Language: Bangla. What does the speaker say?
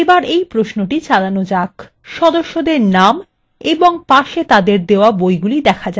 এখানে সদস্যদের names এবং পাশে তাদেরকে দেওয়া বইগুলি দেখা যাচ্ছে